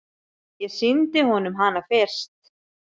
Ég sýndi honum hana fyrst.